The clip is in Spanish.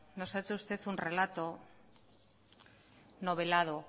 nos ha hecho usted un relato novelado